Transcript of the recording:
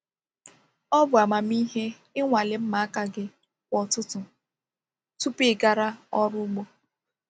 Ọ bụ amamihe ịnwale mma aka gị kwa ụtụtụ tupu ị gara ọrụ ugbo.